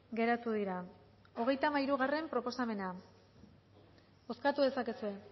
geratu dira hogeita hamairugarrena proposamena bozkatu dezakezue